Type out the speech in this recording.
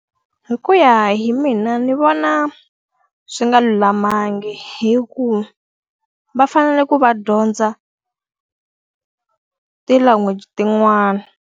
Hi ku ya hi mina ni vona swi nga lulamanga hikuva va fanele ku va dyondza ti-language tin'wana.